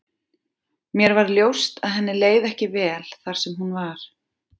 Mér varð ljóst að henni leið ekki vel þar sem hún var.